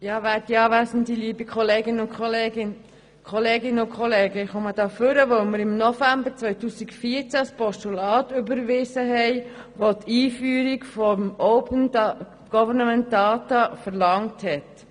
Ich spreche hier, weil wir im November 2014 ein Postulat überwiesen haben, welches die Einführung von Open Government Data verlangte.